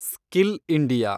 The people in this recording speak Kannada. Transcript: skill India